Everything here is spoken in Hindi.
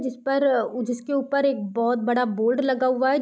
जिस पर उ जिसके ऊपर एक बहोत बड़ा बोर्ड लगा हुआ है।